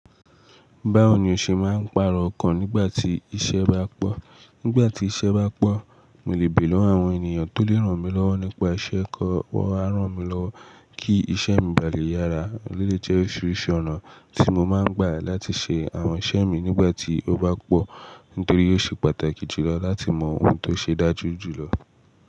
Báwo ni o ṣe máa ń pàrọ ọkàn nígbà tí iṣẹ́ bá pọ̀? Nígbà tí iṣẹ́ bá pọ̀, mo lè béèrè lọ́wọ́ àwọn ènìyàn tó lè ràn mí lọ́wọ́ nípa iṣẹ́ kan wá ràn mí lọ́wọ́ kí iṣẹ́ mi balẹ̀ yára. Ó lè jẹ́ oríṣiríṣi ọ̀nà tí mo máa ń gbà láti ṣe àwọn iṣẹ́ mi nígbà tí ó bá pọ̀, nítorí ó ṣe pàtàkì jùlọ láti mọ ohun tó ṣe dájú jùlọ.